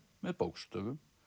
með bókstöfum